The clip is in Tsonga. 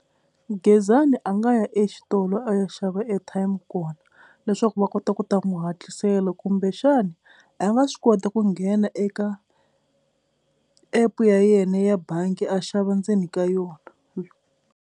Gezani a nga ya exitolo a ya xava airtime kona leswaku va kota ku ta n'wi hatlisela kumbexana a nga swi kota ku nghena eka app ya yena ya bangi a xava ndzeni ka yona.